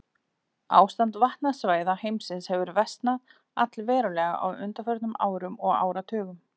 Ástand vatnasvæða heimsins hefur versnað allverulega á undanförnum árum og áratugum.